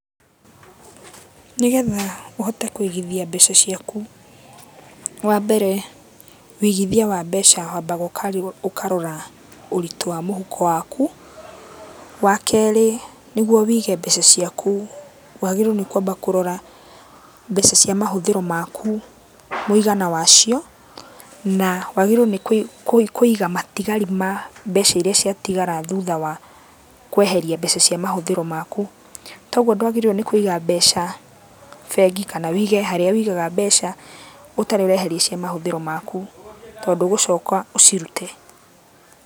Nĩgetha ũhote kũigithia mbeca ciaku, wambere wĩigithia wa mbeca wambaga ũkarora ũritũ wa mũhuko waku. Wakerĩ nĩguo wĩige mbeca ciaku wagĩrĩirũo nĩ kwamba kũrora, mbeca cia mahũthĩro maku mũigana wacio, na wagĩrĩirwo nĩ kũiga matigari ma mbeca iria ciatigara thutha wa kweheria mbeca cia mahũthĩro maku. Toguo ndwagĩrĩirwo nĩ kũiga mbeca bengi kana wĩige harĩa wĩigaga mbeca, ũtarĩ ũreheria cia mahũthĩro maku, tondũ ũgũcoka ũcirute.